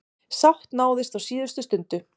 Sátt náðist á síðustu stundu.